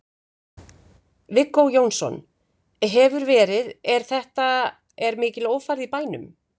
Viggó Jónsson: Hefur verið, er þetta, er mikil ófærð í bænum?